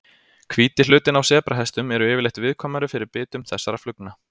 Hvíti hlutinn á sebrahestum eru yfirleitt viðkvæmari fyrir bitum þessara flugna.